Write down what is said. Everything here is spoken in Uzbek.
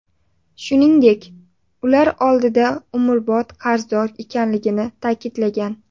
Shuningdek, ular oldida umrbod qarzdor ekanligini ta’kidlagan.